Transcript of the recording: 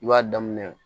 I b'a daminɛ